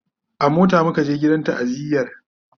a mota muka je gidan ta'aziyar